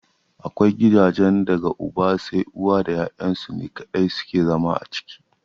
Akwai gidajen da daga uba sai uwa da ya'yan su ne kaɗai suke zama a ciki.